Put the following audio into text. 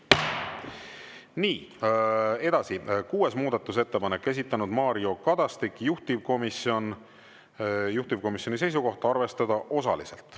Nii, edasi, kuues muudatusettepanek, esitanud Mario Kadastik, juhtivkomisjoni seisukoht: arvestada osaliselt.